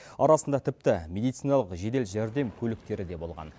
арасында тіпті медициналық жедел жәрдем көліктері де болған